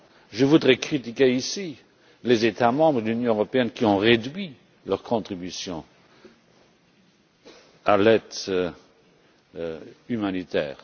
Je voudrais critiquer ici les États membres de l'Union européenne qui ont réduit leur contribution à l'aide humanitaire.